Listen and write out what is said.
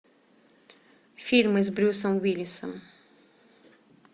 фильмы с брюсом уиллисом